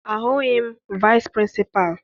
Ahụghị m vaịsị pịrịnsịpalụ.